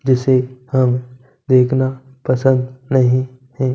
जिसे हम देखना पसंद नहीं है।